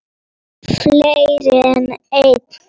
Fleiri en einn?